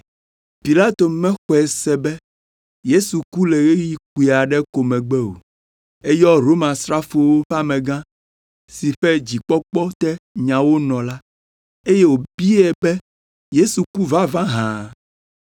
Pilato mexɔe se be Yesu ku le ɣeyiɣi kpui aɖe ko megbe o, eyɔ Romasrafowo ƒe amegã si ƒe dzikpɔkpɔ te nyawo nɔ la, eye wòbiae be Yesu ku vavã hã?